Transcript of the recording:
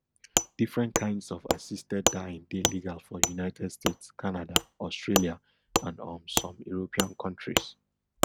different kains of assisted dying dey legal for united states canada australia and um some european kontris